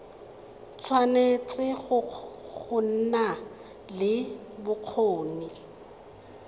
tshwanetse go nna le bokgoni